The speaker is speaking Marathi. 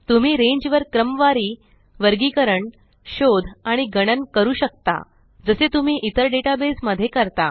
तुम्ही रेंज वर क्रमवारी वर्गीकरण शोध आणि गणन करू शकता जसे तुम्ही इतर डेटाबेस मध्ये करता